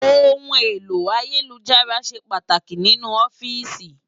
Óhún éló àyélújárà ṣé pàtáki ninú òfìsí